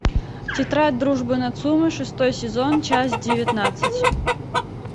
тетрадь дружбы нацумэ шестой сезон часть девятнадцать